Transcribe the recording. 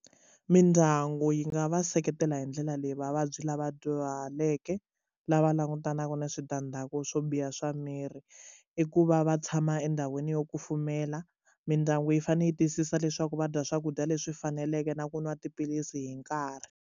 Mindyangu yi nga va seketela hi ndlela leyi vavabyi lava dyuhaleke lava langutanaka ni switandzhaku swo biha swa miri i ku va va tshama endhawini yo kufumela mindyangu yi fanele yi tiyisisa leswaku va dya swakudya leswi faneleke na ku nwa tiphilisi hi nkarhi.